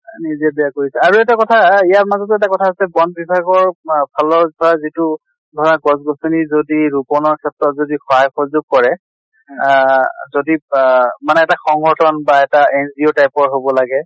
নিজে বেয়া কৰিছে। আৰু এটা কথা আ ইয়াৰ মাজতে এটা কথা আছে বন বিভাগৰ মা ফালৰ পৰা যিটো ধৰা গছ গছ্নি যদি ৰোপনৰ ক্ষেত্ৰত যদি সহায় সহযোগ কৰে আহ যদি বাহ মানে এটা সংগঠ্ন বা এটা NGO type ৰ হʼব লাগে